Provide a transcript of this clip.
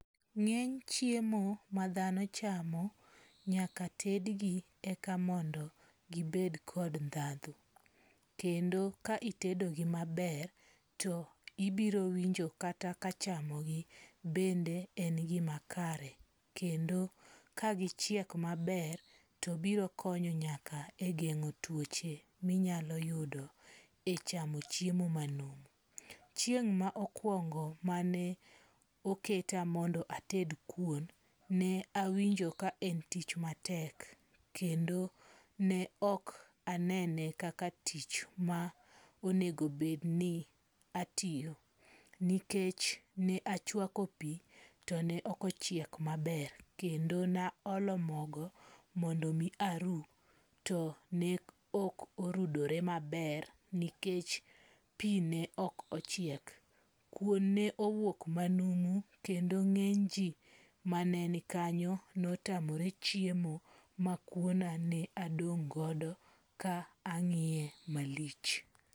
Nge'ny chiemo ma thano chamo nyaka tedgi eka mondo gibed kod thatho, kendo ka itedogi maber to ibiro winjo kata ka chamo gi bende en gimakare kendo kagichiek maber to biro konyo nyaka e gengo' tuoche minyalo yudo e chamo chiemo manumu, chieng' maokuongo mane oketa mondo ated kuon ne awinjo ka en tich matek, kendo ne ok anene kaka tich ma onego bed ni atiyo nikech ne achuako pi to ne okochiek maber kendo naholo mogo mondi mi aru to ne ok orudore maber nikech pi ne ok ochiek, kuon ne owuok manumu kendo nge'ny ji maneni kanyo ne otamore chiemo ma kuanani adong' godo ka angi'ye malich